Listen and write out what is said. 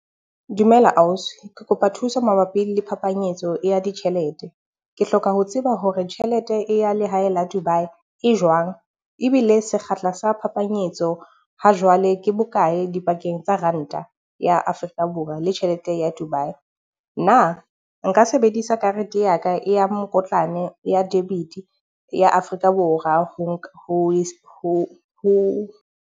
Dumela ausi, ke kopa thuso mabapi le phapanyetso ya ditjhelete. Ke hloka ho tseba hore tjhelete e ya lehae la Dubai e jwang ebile sekgahla sa phapanyetso ha jwale ke bokae pakeng tsa Ranta ya Africa Borwa le tjhelete ya Dubai. Na nka sebedisa karete ya ka e ya mokitlane ya debit ya Afrika Borwa ho .